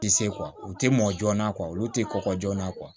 I tɛ se u tɛ mɔ joona olu tɛ kɔkɔ joona